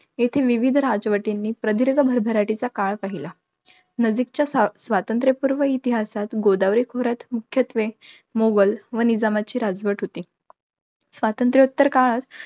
येथे विविधं राजवटींनी प्रदीर्घ भरभराटीचा काळ पाहिला. नजीकच्या स्वातंत्र्यपूर्व इतिहासात, गोदावरी खोऱ्यात मुख्यत्वे मुघल व निजामांची राजवट होती. स्वातंत्र्योत्तर काळात,